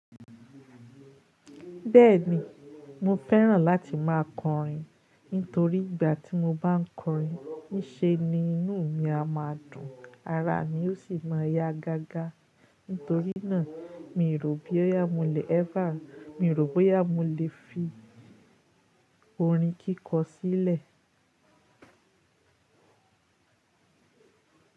Bẹ́ẹ̀ni, mo fẹ́ràn láti máa kọrin. Nítorí ìgbà tí mo bá ń kọrin, ní ṣe ni inú mi a máa dùn, ara mi ó sì máa yá gágá. Nítorí náà, mi rò bí yá mo le ever, mi rò bóyá mo le fi orin kíkọ sílẹ̀.